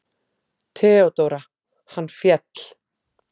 THEODÓRA: Hann féll!